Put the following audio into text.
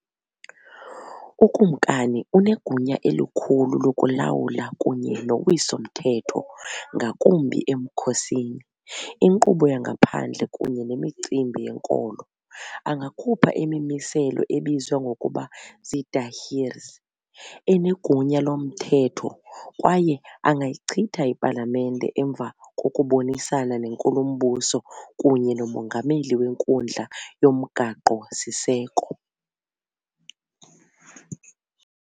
Ukumkani unegunya elikhulu lokulawula kunye nowiso-mthetho, ngakumbi emkhosini, inkqubo yangaphandle kunye nemicimbi yenkolo, angakhupha imimiselo ebizwa ngokuba "ziidahirs", enegunya lomthetho, kwaye angayichitha ipalamente emva kokubonisana nenkulumbuso kunye nomongameli wenkundla yomgaqo-siseko.